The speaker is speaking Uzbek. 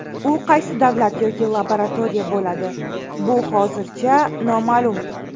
U qaysi davlat yoki laboratoriya bo‘ladi, bu hozircha noma’lum.